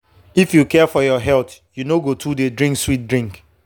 if you care for your health you no go too dey drink sweet drink.